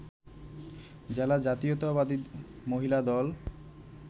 জেলা জাতীয়তাবাদী মহিলা দল